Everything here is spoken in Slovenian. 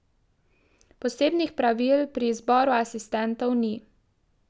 Posebnih pravil pri izboru asistentov ni.